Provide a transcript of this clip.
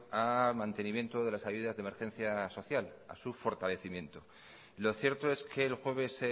a mantenimiento de las ayudas de emergencia social a su fortalecimiento lo cierto es que el jueves